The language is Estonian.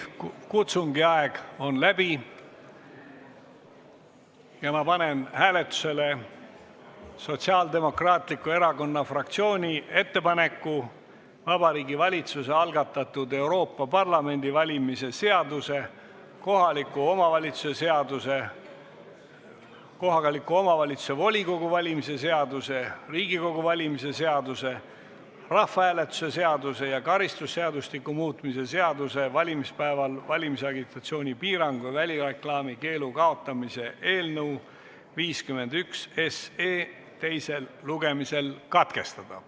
Kutsungi aeg on läbi ja ma panen hääletusele Sotsiaaldemokraatliku Erakonna fraktsiooni ettepaneku Vabariigi Valitsuse algatatud Euroopa Parlamendi valimise seaduse, kohaliku omavalitsuse volikogu valimise seaduse, Riigikogu valimise seaduse, rahvahääletuse seaduse ja karistusseadustiku muutmise seaduse eelnõu 51 teisel lugemisel katkestada.